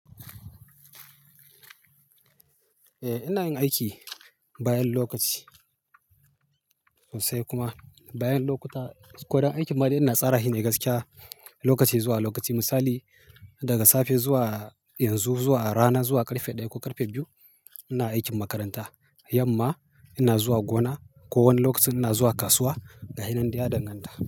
Eh ina yin aiki, bayan lokaci, sai kuma bayan lokuta, ko don aikin ma dai ina tsara shi ne gaskiya, lokaci zuwa lokaci. Misali, daga safe zuwa yanzu, zuwa rana, zuwa ƙarfe ɗaya ko ƙarfe biyu ina aikin makaranta. Yamma ina zuwa gona. Ko wani lokaci ina zuwa kasuwa, ga hinan dai ya danganta.